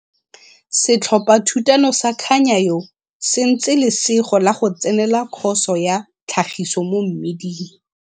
Setlhophathutano sa Khanyayo se ntse Lesego la go tsenela Khoso ya Tlhagiso mo Mmiding.